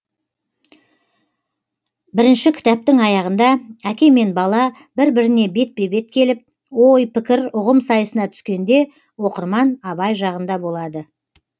бірінші кітаптың аяғында әке мен бала бір біріне бетпе бет келіп ой пікір ұғым сайысына түскенде оқырман абай жағында болады